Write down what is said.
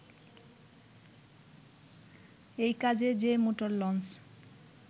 এই কাজে যে মোটর লঞ্চ